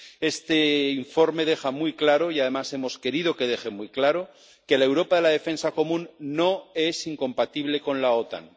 Este informe deja muy claro —y, además, hemos querido que deje muy claro— que la Europa de la defensa común no es incompatible con la OTAN.